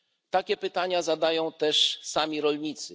Takie pytania zadają też sami rolnicy.